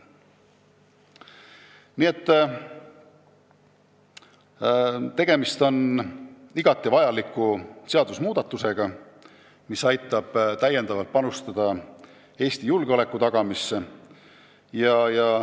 Nii et tegemist on igati vajaliku seaduse muutmisega, mis annab täiendava panuse Eesti julgeoleku tagamisse.